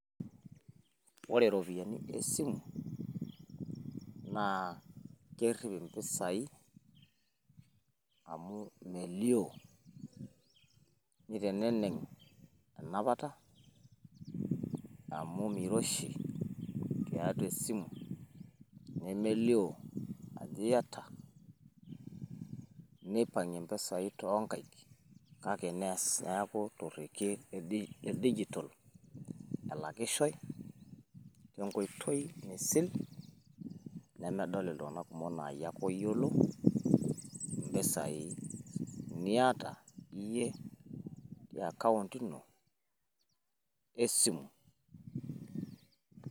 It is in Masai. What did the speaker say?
Ore irropiyiani e simu naa kerrip impisai amu imelio, niteneneng enapata amu meiroshi tiatua esimu, nemelio ajo iyata. Nipang`ie mpisai too nkaik kake neas niaku to rrekie le digital elakishoi te nkoitoi misil nemedol iltumg`anak kumok. Laa yie ake oyiolo mpisai niata iyie te account ino e simu.